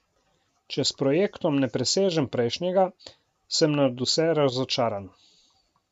Če s projektom ne presežem prejšnjega, sem nadvse razočaran.